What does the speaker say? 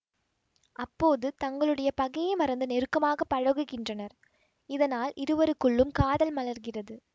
அப்போது தங்களுடைய பகையை மறந்து நெருக்கமாக பழகுகின்றனர் இதனால் இருவருக்குள்ளும் காதல் மலர்கிறது